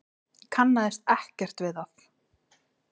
Kannaðist ekkert við það.